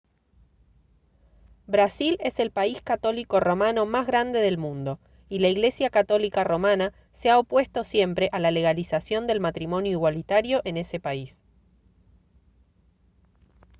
brasil es el país católico romano más grande del mundo y la iglesia católica romana se ha opuesto siempre a la legalización del matrimonio igualitario en ese país